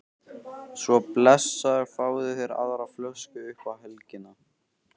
Svo blessaður fáðu þér aðra flösku upp á helgina